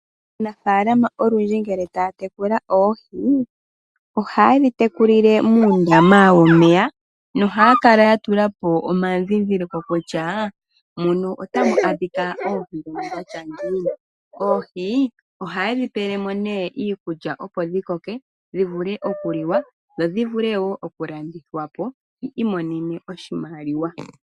Aanafaalama olundji ngele taya tekula oohi ohaye dhi tekulile muundama womeya nohaya kala ya tulapo omandhindhiliko kutya muno otamu adhika oohi dhini. Oohi oha yedhipelemo nee iikulya opo dhi koke dhivule okuliwa dho dhivule woo okulandithwapo yi imonene oshimaliwa.